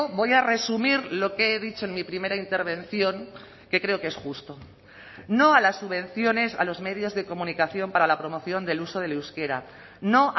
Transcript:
voy a resumir lo que he dicho en mi primera intervención que creo que es justo no a las subvenciones a los medios de comunicación para la promoción del uso del euskera no